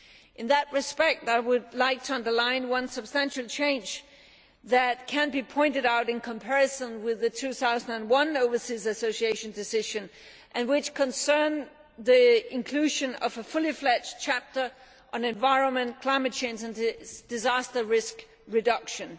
In that respect I would like to stress one substantial change that can be pointed out in comparison with the 2001 Overseas Association Decision and which concerns the inclusion of a fully fledged chapter on environment, climate change and disaster risk reduction.